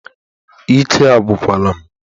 Ike agwụkwara m